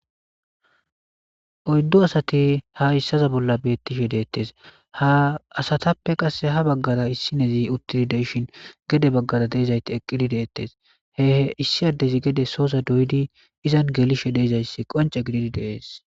oyddu asati ha issaza bolla beettishe deettes ha asatappe qasse ha baggara issinezi utilideshin gede baggara deezayti eqqidi deettes he issi addezi gede soosa doydi izan gelishe deezayssi qonce gididi dees